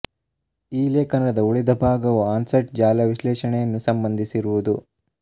ಈ ಲೇಖನದ ಉಳಿದ ಭಾಗವು ಆನ್ಸೈಟ್ ಜಾಲ ವಿಶ್ಲೇಷಣೆಯನ್ನು ಸಂಬಂಧಿಸಿರುವುದು